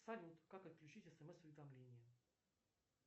салют как отключить смс уведомления